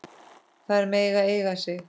Þær mega eiga sig.